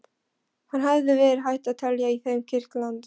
Það hefði verið hægt að telja í þeim kirtlana.